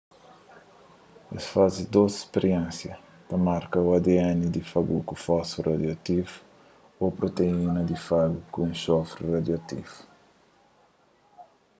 es faze dôs spiriénsia ta marka ô adn di fagu ku fósfuru radioativu ô proteína di fagu ku enxofri radioativu